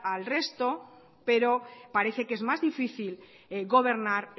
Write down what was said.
al resto pero parece que es más difícil gobernar